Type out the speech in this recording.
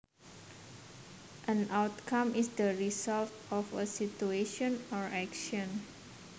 An outcome is the result of a situation or action